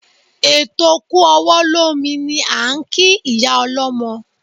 Eto kú ọwọ́ lómi ni à ń kí ìyá ọlọ́mọ.